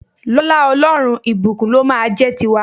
Lọ́lá Ọlọ́run, ìbùkún ló máa a jẹ́ ti wa.